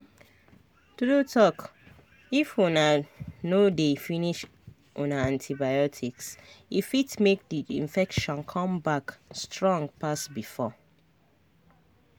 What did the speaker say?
true talkif una no dey finish una antibioticse fit make the infection come back strong pass before